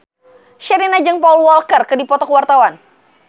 Sherina jeung Paul Walker keur dipoto ku wartawan